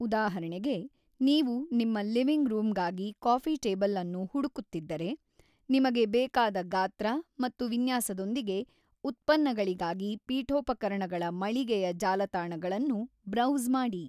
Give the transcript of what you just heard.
ಉದಾಹರಣೆಗೆ, ನೀವು ನಿಮ್ಮ ಲಿವಿಂಗ್ ರೂಮ್‌ಗಾಗಿ ಕಾಫಿ ಟೇಬಲ್ ಅನ್ನು ಹುಡುಕುತ್ತಿದ್ದರೆ, ನಿಮಗೆ ಬೇಕಾದ ಗಾತ್ರ ಮತ್ತು ವಿನ್ಯಾಸದೊಂದಿಗೆ ಉತ್ಪನ್ನಗಳಿಗಾಗಿ ಪೀಠೋಪಕರಣಗಳ ಮಳಿಗೆಯ ಜಾಲತಾಣಗಳನ್ನು ಬ್ರೌಸ್‌ ಮಾಡಿ.